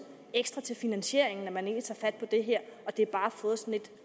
ekstra til finansieringen at man egentlig tager fat på det her og at det bare har fået sådan et